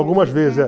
Algumas vezes. É